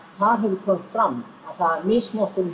þar hefur komið fram að misnotkunin